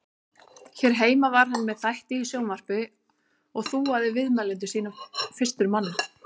Hér heima var hann með þætti í sjónvarpi og þúaði viðmælendur sína fyrstur manna.